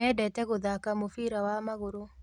Mendete gũthaka mũbira wa magũrũ.